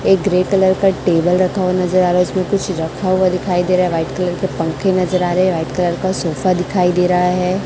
एक grey colour का table रखा हुआ नज़र आ रहा है उसमें कुछ रखा हुआ दिखाई दे रहा है वाइट कलर के पंखे नज़र आ रहे है वाइट कलर का सोफा दिखाई दे रहा है।